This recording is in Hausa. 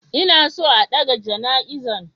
Inason a ɗaga jana izan.